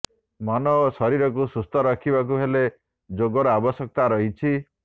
ମନ ଓ ଶରୀରକୁ ସୁସ୍ଥରଖିବାକୁ ହେଲେ ଯୋଗର ଆବଶ୍ୟକତା ରହିଛି